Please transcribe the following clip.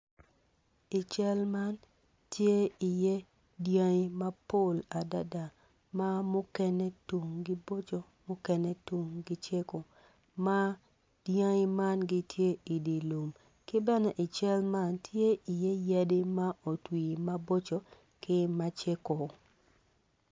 I cal man tye iye dangi mapol adada ma mukene tumgi boco mukene tumgi cego ma dangi man giti idilum kibene i cal man tye iye yadi ma otwi maboco ki ma ceko